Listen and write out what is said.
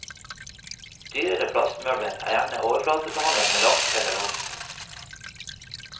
Dyrere plastmøbler er gjerne overflatebehandlet med lakk eller voks.